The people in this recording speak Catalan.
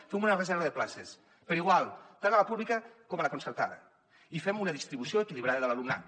fem una reserva de places per igual tant a la pública com a la concertada i fem una distribució equilibrada de l’alumnat